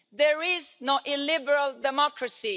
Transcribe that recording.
There is no illiberal democracy.